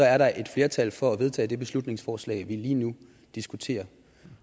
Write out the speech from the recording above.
er der et flertal for at vedtage det beslutningsforslag vi lige nu diskuterer